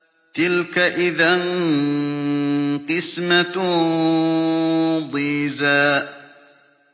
تِلْكَ إِذًا قِسْمَةٌ ضِيزَىٰ